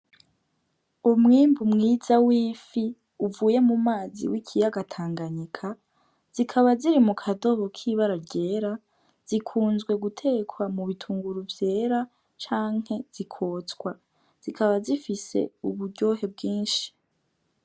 Umwimbu mwiza wifi uvuye mu mazi w'ikiyaga tanganyika zikaba ziri mukadobo kibara ryera zikunzwe gutekwa mu bitunguru vyera canke zi kotswa zikaba zifise uburyohe bwishi.